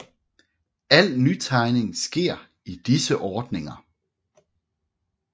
Al nytegning sker i disse ordninger